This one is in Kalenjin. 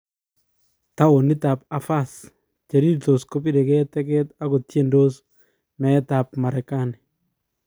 Townit ab Avhaz ,Cherirtos kobirege teget ako tiendos" meet ab Merekani.